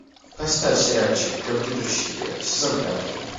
поставь сериальчик компьютерщики сезон пятый